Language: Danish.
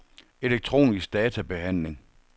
elektronisk databehandling